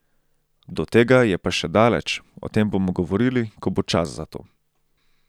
Do tega je pa še daleč, o tem bomo govorili, ko bo čas za to.